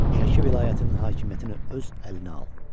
Şəki vilayətinin hakimiyyətini öz əlinə al.